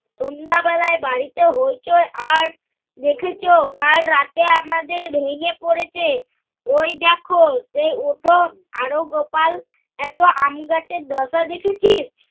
সন্ধ্যাবেলায় বাড়িতে হইচই আর দেখেছ, কাল রাতে আমাদের ভেঙ্গে পরেছে। ঐ দেখ চেয়ে ওঠ আরো গোপাল এত আমগাছের দোষ দেখেছিস?